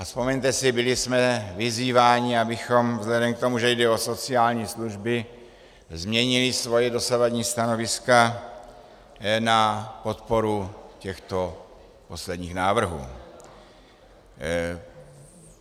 A vzpomeňte si, byli jsme vyzýváni, abychom vzhledem k tomu, že jde o sociální služby, změnili svoje dosavadní stanoviska na podporu těchto posledních návrhů.